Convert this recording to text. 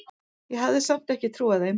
Ég hafði samt ekki trúað þeim.